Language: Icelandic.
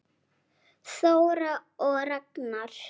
Þóra og Ragnar.